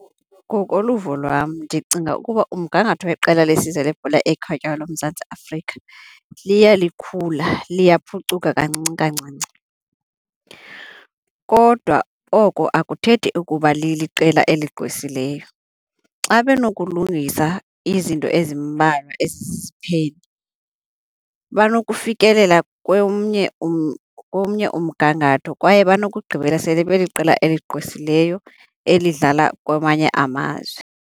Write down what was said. Ngokoluvo lwam ndicinga ukuba umgangatho weqela lesizwe lebhola ekhatywayo loMzantsi Afrika liya likhula, liyaphucuka kancinci kancinci. Kodwa oko akuthethi ukuba liliqela eligqwesileyo. Xa benokulungisa izinto ezimbalwa eziziziphene banokufikelela komnye umgangatho kwaye banokugqibela sele beliqela eligqwesileyo elidlala kwamanye amazwe.